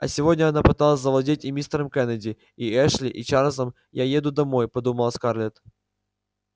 а сегодня она пыталась завладеть и мистером кеннеди и эшли и чарлзом я еду домой подумала скарлетт